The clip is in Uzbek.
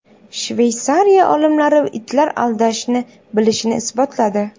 Shveysariya olimlari itlar aldashni bilishini isbotladi.